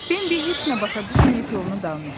Bembə heç nə başa düşməyib yoluna davam etdi.